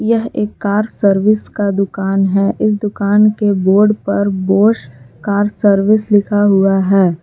यह एक car service का दुकान है इस दुकान के बोर्ड पर बोश कार सर्विस लिखा हुआ है।